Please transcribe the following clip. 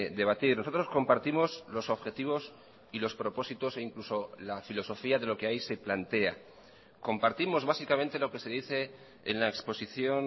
debatir nosotros compartimos los objetivos y los propósitos e incluso la filosofía de lo que ahí se plantea compartimos básicamente lo que se dice en la exposición